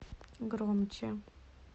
громче